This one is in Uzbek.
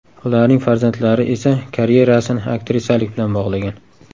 Ularning farzandlari esa karyerasini aktrisalik bilan bog‘lagan.